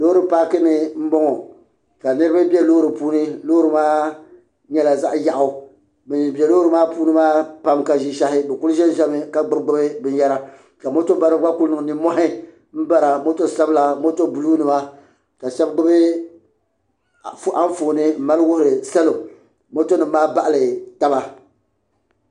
loori paaki ni n bɔŋɔ ka niraba bɛ loori puuni loori maa nyɛla zaɣ yaɣu bin bɛ loori maa puuni maa pam ka ʒishɛhi bi ku ʒɛmi ka gbubi gbubi binyɛra ka moto baribi gba ku niŋ nimmohi n bara moto sabila moto buluu nima ka shab gbubi Anfooni nmali wuhiri salo moto nim maa baɣali taba